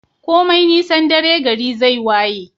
komai nisan dare gari zai waye